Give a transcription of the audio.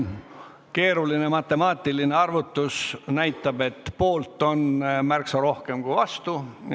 Keeruline matemaatiline arvutus näitab, et poolt on märksa rohkem kui vastu.